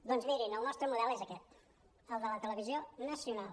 doncs mirin el nostre model és aquest el de la televisió nacional